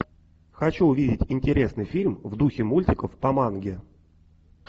хочу увидеть интересный фильм в духе мультиков по манге